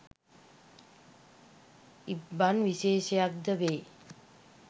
ඉබ්බන් විශේෂක් ද වේ